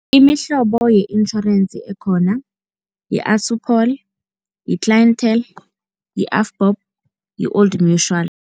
Imihlobo ye-insurance ekhona yi-Assupol, yi-Clientele, yi-Avbob, yi-Old Mutual.